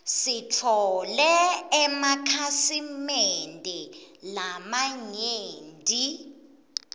sitfole emakhasi mende lamanyenti